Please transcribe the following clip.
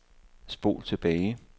spol tilbage